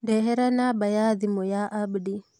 Ndehere namba ya thimũ ya Abdi.